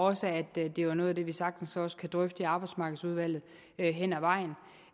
og også at det er noget af det vi sagtens kan drøfte i arbejdsmarkedsudvalget hen ad vejen